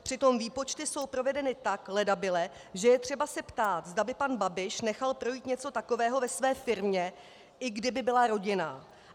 Přitom výpočty jsou provedeny tak ledabyle, že je třeba se ptát, zda by pan Babiš nechal projít něco takového ve své firmě, i kdyby byla rodinná.